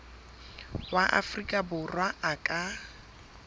wa afrika borwa a ka